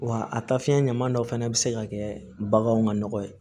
Wa a taa fiɲɛ ɲama dɔ fana bɛ se ka kɛ baganw ka nɔgɔ ye